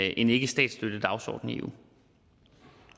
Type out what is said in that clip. en ikkestatsstøttedagsorden i eu